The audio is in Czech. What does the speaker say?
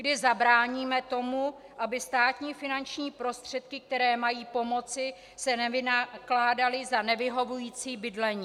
Kdy zabráníme tomu, aby státní finanční prostředky, které mají pomoci, se nevynakládaly za nevyhovující bydlení?